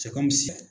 Sɛkɔmuso